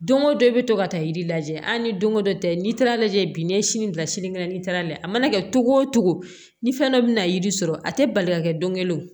Don o don i bɛ to ka taa yiri lajɛ a ni don ko dɔ tɛ n'i taara lajɛ bi n'i ye sini bila sini kɛnɛ n'i taara lajɛ a mana kɛ cogo o cogo ni fɛn dɔ bɛna yiri sɔrɔ a tɛ bali ka kɛ don kelen o